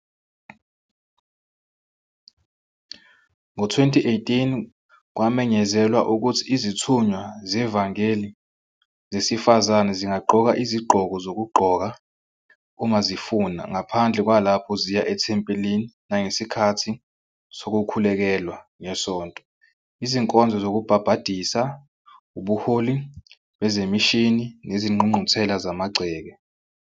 Ngo-2018 kwamenyezelwa ukuthi izithunywa zevangeli zesifazane zingagqoka izigqoko zokugqoka uma zifuna, ngaphandle kwalapho ziya ethempelini nangesikhathi sokukhulekelwa ngeSonto, izinkonzo zokubhabhadisa, ubuholi bezemishini nezingqungquthela zamagceke.